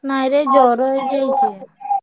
ନାଇଁରେ ଜ୍ଵର ହେଇଯାଇଛି।